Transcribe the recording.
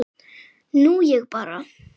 Nú ég bara.